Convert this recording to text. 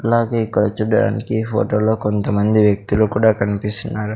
అలాగే ఇక్కడ చూడడానికి ఫోటోలో కొంతమంది వ్యక్తులు కూడా కనిపిస్తున్నారు.